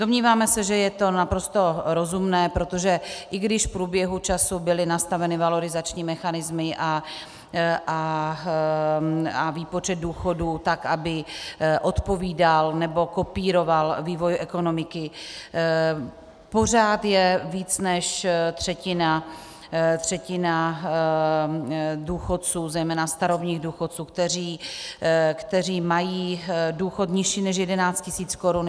Domníváme se, že je to naprosto rozumné, protože i když v průběhu času byly nastaveny valorizační mechanismy a výpočet důchodu tak, aby odpovídal nebo kopíroval vývoj ekonomiky, pořád je více než třetina důchodců, zejména starobních důchodců, kteří mají důchod nižší než 11 tisíc korun.